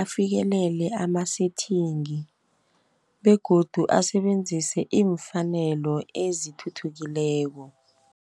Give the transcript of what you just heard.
afikelele ama-settingi, begodu asebenzise iimfaneleko ezithuthukileko.